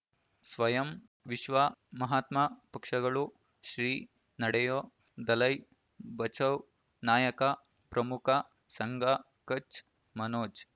ಸ್ವಯಂ ವಿಶ್ವ ಮಹಾತ್ಮ ಪಕ್ಷಗಳು ಶ್ರೀ ನಡೆಯೂ ದಲೈ ಬಚೌ ನಾಯಕ ಪ್ರಮುಖ ಸಂಘ ಕಚ್ ಮನೋಜ್